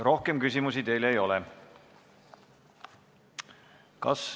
Rohkem küsimusi teile ei ole.